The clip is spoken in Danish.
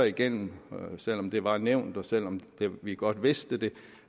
igennem selv om det var nævnt og selv om vi godt vidste